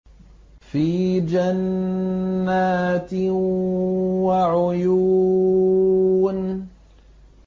فِي جَنَّاتٍ وَعُيُونٍ